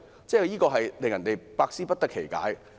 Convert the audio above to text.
這令人百思不得其解。